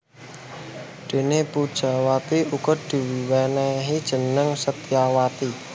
Déné Pujawati uga diwènèhi jeneng Setyawati